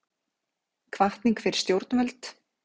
Hvatning fyrir stjórnvöld